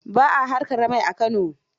Ba a haƙar mai A Kano.